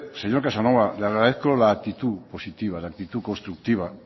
señor casanova le agradezco la actitud positiva la actitud constructiva